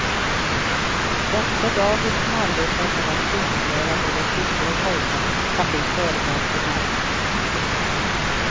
Också dagis som arbetar med att synliggöra både flickor och pojkar kan bli föremål för märkning.